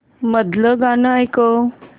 मधलं गाणं ऐकव